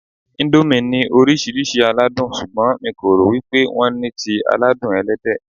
Íńdómì ní oríṣiríṣi aládùn, ṣùgbọ́n mi kò rò wípé wón ní ti aládùn Ẹlẹ́dẹ̀.